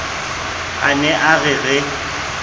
a ne a re re